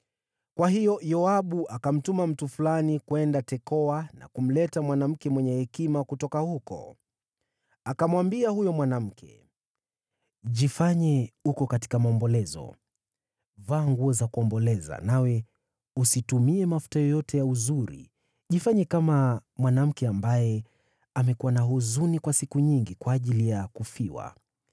Kwa hiyo Yoabu akamtuma mtu fulani kwenda Tekoa na kumleta mwanamke mwenye hekima kutoka huko. Akamwambia huyo mwanamke, “Jifanye uko katika maombolezo. Vaa nguo za kuomboleza, nawe usitumie mafuta yoyote ya uzuri, jifanye kama mwanamke ambaye amekuwa na huzuni kwa siku nyingi kwa ajili ya kufiwa.